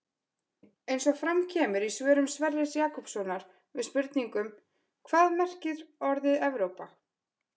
Eins og fram kemur í svörum Sverris Jakobssonar við spurningunum Hvað merkir orðið Evrópa?